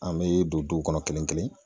An bɛ don duw kɔnɔ kelen kelen